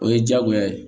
O ye diyagoya ye